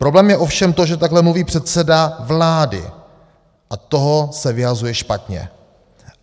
Problém je ovšem to, že takhle mluví předseda vlády, a toho se vyhazuje špatně.